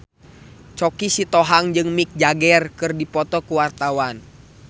Choky Sitohang jeung Mick Jagger keur dipoto ku wartawan